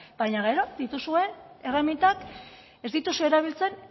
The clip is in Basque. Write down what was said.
baina gero dituzuen erremintak ez dituzue erabiltzen